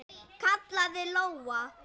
kallaði Lóa.